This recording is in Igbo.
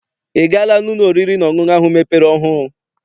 I gaala n'ụlọ oriri na ọṅụṅụ ahụ mepere ọhụụ?